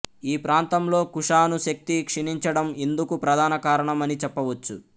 ఈ ప్రాంతంలో కుషాను శక్తి క్షీణించడం ఇందుకు ప్రధాన కారణమని చెప్పవచ్చు